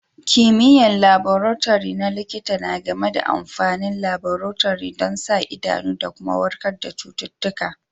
Kimiyya'n laborotori na likita na game da amfanin laborotori dan sa idanu da kuma warkar da citutuka.